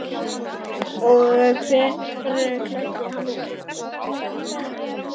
Og hver klæddi hann úr?